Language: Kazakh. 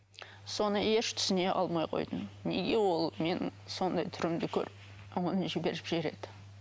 соны еш түсіне алмай қойдым неге ол менің сондай түрімді көріп оны жіберіп жібереді